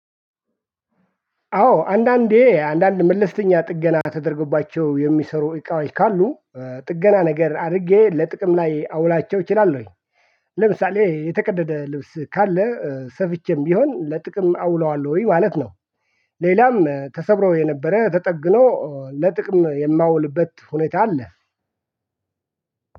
አዎ አንዳንዴ አንዳንድ መለስተኛ ጥገና ተደርጎባቸው የሚሰሩ እቃዎች ካሉ ጥገና ነገር አድርጌ ለጥቅም ላይ አውላቸው እችላለሁኝ። ለምሳሌ የተቀደደ ልብስ ካለ ሰፍቼም ቢሆን ለጥቅም አውለዋለሁኝ ማለት ነው። ሌላም ተሰብሮ የነበረ ተጠግኖ ለጥቅም የማውልበት ሁኔታ አለ።